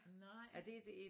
Nej